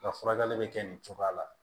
Ka furakɛli bɛ kɛ nin cogoya la